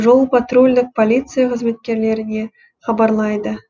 жол патрульдік полиция қызметкерлеріне хабарлайды